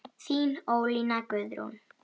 Þín Ólína Guðrún.